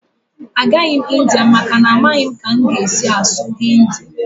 Agaghị m India maka na amaghị m ka m ga-esi asụ Hindi